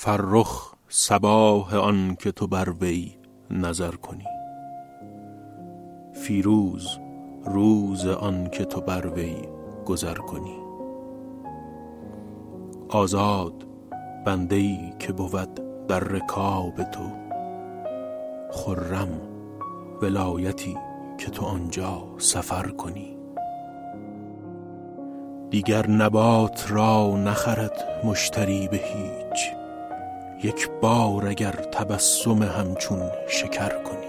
فرخ صباح آن که تو بر وی نظر کنی فیروز روز آن که تو بر وی گذر کنی آزاد بنده ای که بود در رکاب تو خرم ولایتی که تو آن جا سفر کنی دیگر نبات را نخرد مشتری به هیچ یک بار اگر تبسم همچون شکر کنی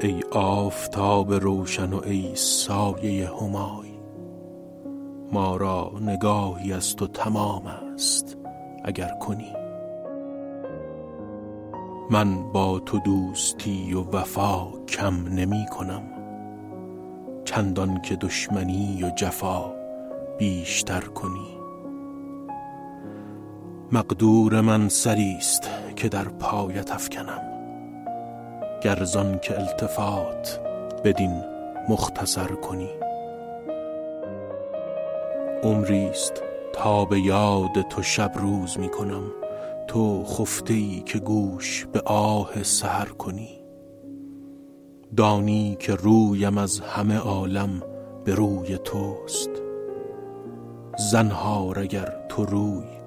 ای آفتاب روشن و ای سایه همای ما را نگاهی از تو تمام است اگر کنی من با تو دوستی و وفا کم نمی کنم چندان که دشمنی و جفا بیش تر کنی مقدور من سری ست که در پایت افکنم گر زآن که التفات بدین مختصر کنی عمری ست تا به یاد تو شب روز می کنم تو خفته ای که گوش به آه سحر کنی دانی که رویم از همه عالم به روی توست زنهار اگر تو روی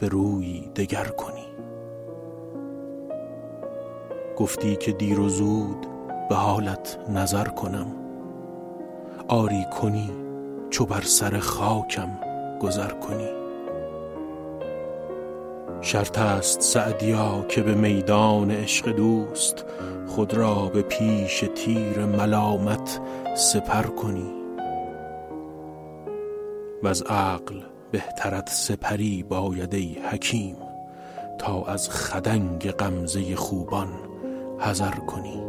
به رویی دگر کنی گفتی که دیر و زود به حالت نظر کنم آری کنی چو بر سر خاکم گذر کنی شرط است سعدیا که به میدان عشق دوست خود را به پیش تیر ملامت سپر کنی وز عقل بهترت سپری باید ای حکیم تا از خدنگ غمزه خوبان حذر کنی